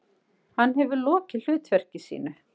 Hann hefur lokið hlutverki sínu.